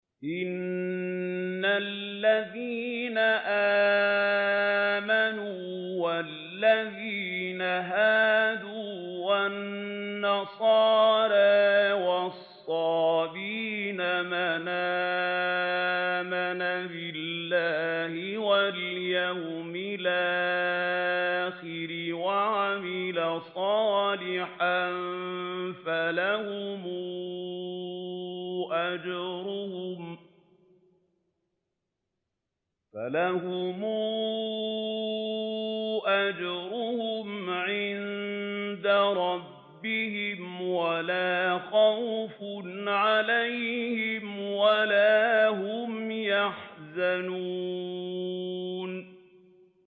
إِنَّ الَّذِينَ آمَنُوا وَالَّذِينَ هَادُوا وَالنَّصَارَىٰ وَالصَّابِئِينَ مَنْ آمَنَ بِاللَّهِ وَالْيَوْمِ الْآخِرِ وَعَمِلَ صَالِحًا فَلَهُمْ أَجْرُهُمْ عِندَ رَبِّهِمْ وَلَا خَوْفٌ عَلَيْهِمْ وَلَا هُمْ يَحْزَنُونَ